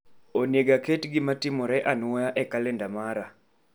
Oneg aket gima timore anwoya e kalenda mara